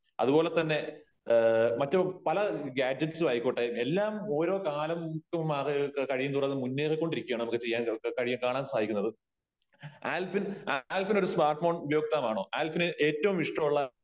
അതുപോലെതന്നെ മറ്റ് പല ഗാഡ്ജെറ്റ്സും ആയിക്കോട്ടെ എല്ലാം ഓരോ കാലം കഴിയും തോറും അത് മുന്നേറികൊണ്ടിരിക്കുകയാണ് . നമുക്ക് കാണാൻ സാധിക്കുന്നത് . ആൽഫിൻ , ആൽഫിനോര് സ്മാർട് ഫോൺ ഉപയോക്താവാണോ ? ആൽഫിന് ഏറ്റവും ഇഷ്ടമുള്ള